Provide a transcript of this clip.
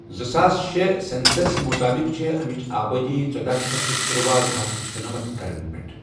زٕساس شے سؠنسَس مُطٲبِق چھےٚ اَمِچ آبٲدی ژٔداہ شیتھ تہٕ تٔرۄاہ، زٕ ہتھ شُنمنتھ گَرن مَنٛز۔